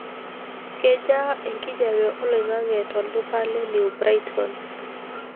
kejaa enkijape olaing'ange to lduka le new brighton pa